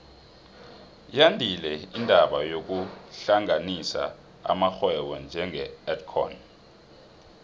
yandile indaba yokuhlanganisa amarhwebo njenge edcon